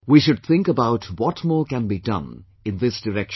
We should think about what more can be done in this direction